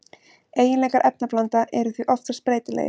Eiginleikar efnablanda eru því oftast breytilegir.